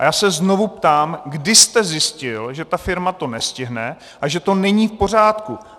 A já se znovu ptám, kdy jste zjistil, že ta firma to nestihne a že to není v pořádku.